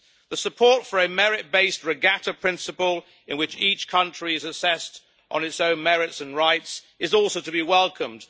The support for a merit-based regatta principle in which each country is assessed on its own merits and rights is also to be welcomed.